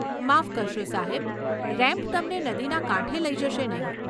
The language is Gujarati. માફ કરશો, સાહેબ. રેમ્પ તમને નદીના કાંઠે લઈ જશે નહીં.